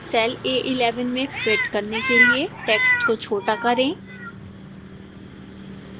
cell a11 में fit करने के लिए text को छोटा करें